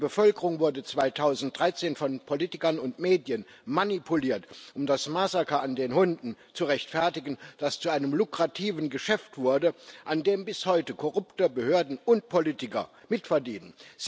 Die Bevölkerung wurde 2013 von Politikern und Medien manipuliert, um das Massaker an den Hunden zu rechtfertigen, das zu einem lukrativen Geschäft wurde, an dem bis heute korrupte Behörden und Politiker mitverdienen.